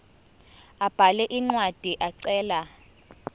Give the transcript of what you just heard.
abhale incwadi ecela